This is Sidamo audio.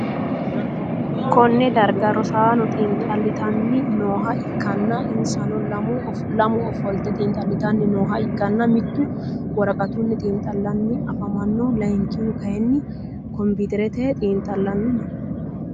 Konne darga rosaano xiinxalitanni nooha ikanna insano lamu ofolte xiinxalitanni nooha ikanna mitu woraqatunni xiinxalanni afamano layinkihu kayinni komputerete xiinxalanni no.